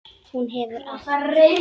Hún hefur allt.